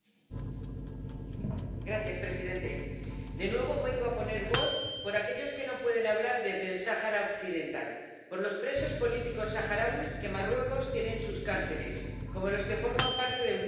Señor presidente, de nuevo vengo a poner voz por aquellos que no pueden hablar desde el Sáhara Occidental, por los presos políticos saharauis que Marruecos tiene en sus cárceles, como los que forman parte del grupo de Gdeim Izik.